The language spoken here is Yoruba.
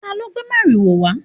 talo gbé mariwo wa?